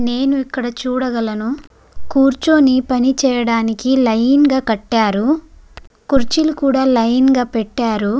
నేను ఇక్కడ చూడగలను కూర్చొని పని చేయడానికి లైన్ గా కట్టారు. కుర్చీలు కూడ లైన్ గా పెట్టారు.